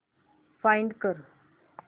find कर